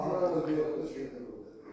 Axıranı, yox, o şeylər də var.